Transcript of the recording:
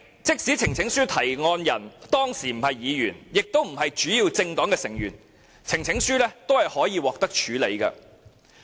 即使呈請書提案人當時不是議員或主要政黨的成員，呈請書也可以獲得處理。